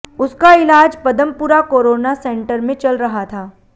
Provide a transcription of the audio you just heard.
उसका इलाज Padampura corona center में चल रहा था